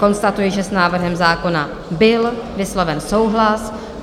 Konstatuji, že s návrhem zákona byl vysloven souhlas.